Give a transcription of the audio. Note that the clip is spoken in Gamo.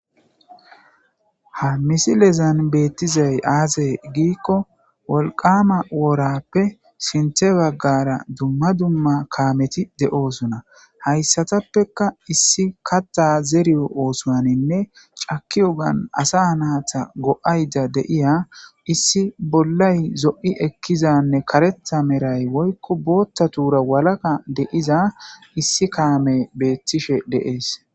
ha misi lezan beettizay aazey giikko wolqama woorappe sinte baggara dumma dumma kaameti de7oosona hayssatappeka issi katta zeriyo oosoaninne caki ogan asa naata go7ayda deiya issi bollay zo7i ekkizanne karetha meray woykko bootta tuura walaka deiza issi kaame beettishe deees